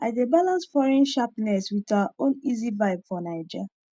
i dey balance foreign sharpness with our own easy vibe for naija